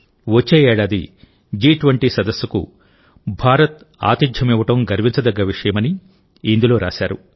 వచ్చే ఏడాది జి20 సదస్సుకు భారత్ ఆతిథ్యమివ్వడం గర్వించదగ్గ విషయమని ఇందులో రాశారు